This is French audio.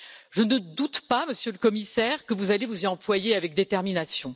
Je ne doute pas, Monsieur le Commissaire, que vous allez vous y employer avec détermination.